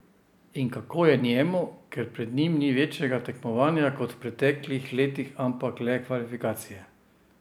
In kako je njemu, ker pred njim ni večjega tekmovanja kot v preteklih letih, ampak le kvalifikacije?